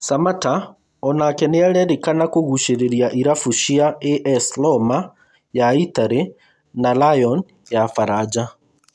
Samatta onake nĩarerĩkana kũgucĩrĩria irabu cia AS Roma ya itari na Lyon ya baranja